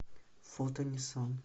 фото ниссан